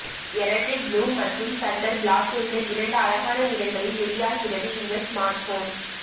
electric blue மற்றும் thunder black என்று இரண்டு அழகான நிறங்களில் வெளியாகிறது இந்த ஸ்மார்ட்போன்